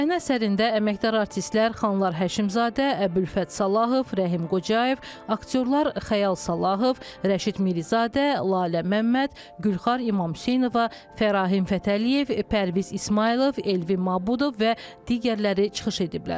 Səhnə əsərində əməkdar artistlər Xanlar Həşimzadə, Əbülfət Salahov, Rəhim Qocayev, aktyorlar Xəyal Salahov, Rəşid Mirizadə, Lalə Məmməd, Gülxar İmamhüseynova, Fərahim Fətəliyev, Pərviz İsmayılov, Elvin Mabudov və digərləri çıxış ediblər.